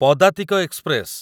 ପଦାତିକ ଏକ୍ସପ୍ରେସ